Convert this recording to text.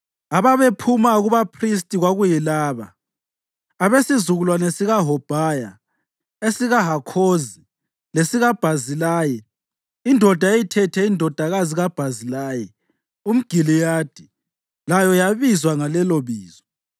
Ababephuma kubaphristi kwakuyilaba: abesizukulwane sikaHobhaya, esikaHakhozi lesikaBhazilayi (indoda eyayithethe indodakazi kaBhazilayi umGiliyadi layo yayibizwa ngalelobizo).